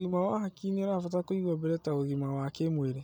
ũgima wa hakiri nĩũrabatara kũigwo mbere ta ũgima wa kĩmwĩrĩ